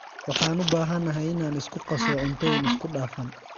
Waxaan u baahanahay inaan isku qaso cuntooyin isku dhafan.